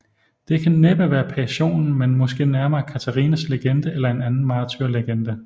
Det kan næppe være Passionen men måske nærmere Katarinas legende eller en anden martyrlegende